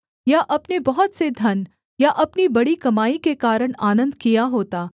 या अपने बहुत से धन या अपनी बड़ी कमाई के कारण आनन्द किया होता